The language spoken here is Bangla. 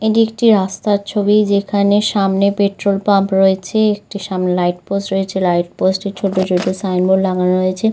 এইটি একটি রাস্তার ছবি যেখানে সামনে পেট্রল পাম্প রয়েছে একটি সামনে লাইট পোস্ট রয়েছে লাইটপোস্ট এ ছোট ছোট সাউন্ড বল লাগানো রয়েছে।